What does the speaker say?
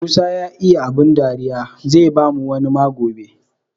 Musa ya iya bada abun dari, zai bamu wani ma gobe.